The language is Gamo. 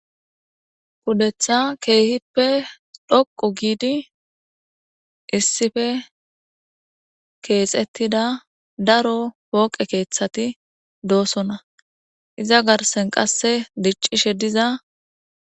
Pudetha keehippe dhoqu giidi issife keexettida daro pooqe keeththati doosonna iza garsen qasse diccishe diza.